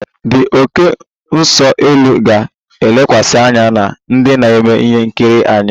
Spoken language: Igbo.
The oké nso-elu ga-elekwasị anya na ndị na-eme ihe nkiri anya